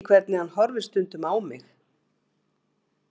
Þú veist ekki hvernig hann horfir stundum á mig.